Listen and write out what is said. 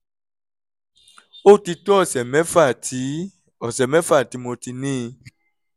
ó ti tó ọ̀sẹ̀ mẹ́fà tí ọ̀sẹ̀ mẹ́fà tí mo ti ní i